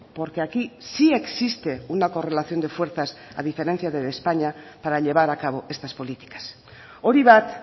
porque aquí sí existe una correlación de fuerzas a diferencia de españa para llevar a cabo estas políticas hori bat